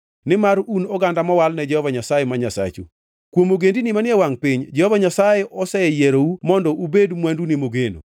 nimar un oganda mowal ne Jehova Nyasaye ma Nyasachu. Kuom ogendini manie wangʼ piny, Jehova Nyasaye oseyierou mondo ubed mwandune mogeno.